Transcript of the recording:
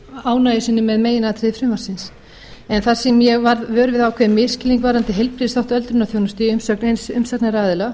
ánægju sinni með meginatriði frumvarpsins en þar sem ég varð vör við ákveðinn misskilning varðandi heilbrigðisþátt öldrunarþjónustu í umsögn eins umsagnaraðila